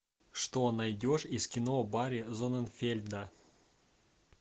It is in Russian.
что найдешь из кино барри зонненфельда